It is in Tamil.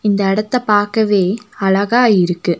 இந்த எடத்த பாக்கவே அழகா இருக்கு.